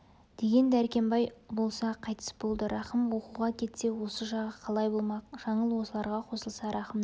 деген дәркембай болса қайтыс болды рахым оқуға кетсе осы жағы қалай болмақ жаңыл осыларға қосылса рахымның